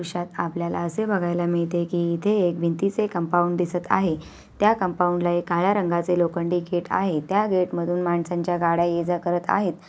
दृश्यात आपल्याला अशे बघायला मिळते कि इथे एक भिंतीचे कंपाऊंड दिसत आहे त्या कंपाऊंड ला एक काळ्या रंगाचे लोखंडी गेट आहे त्या गेट मधून माणसांच्या गाड्या ये जा करत आहेत.